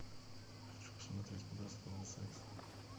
хочу посмотреть подростковый секс